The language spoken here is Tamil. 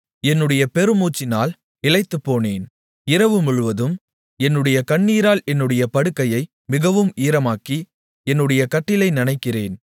என்னுடைய பெருமூச்சினால் இளைத்துப்போனேன் இரவுமுழுவதும் என்னுடைய கண்ணீரால் என்னுடைய படுக்கையை மிகவும் ஈரமாக்கி என்னுடைய கட்டிலை நனைக்கிறேன்